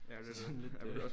Ja det var sådan lidt øh